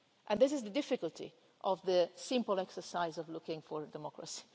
This is the difficulty of the simple exercise of looking for democracy.